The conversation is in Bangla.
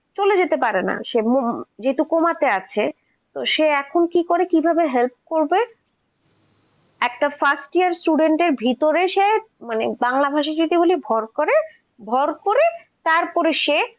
চলে যেতে পারেনা যেহেতু coma তে আছে সে এখন কি করে কি ভাবে help করবে একটা first year student এর ভিতরে সে মানে বাংলা ভাষী বলে ভর করে ভর করে সে